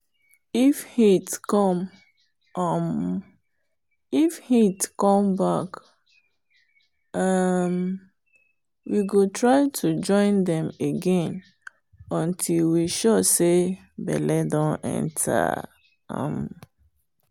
if heat come um back um we go try to join dem again until we sure say belle don enter. um